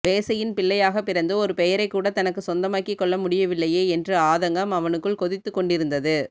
வேசையின் பிள்ளையாக பிறந்து ஒரு பெயரைக் கூட தனக்கு சொந்தமாக்கி கொள்ள முடியவில்லையே என்ற ஆதங்கம் அவனுக்குள் கொதித்து கொண்டிருந்தது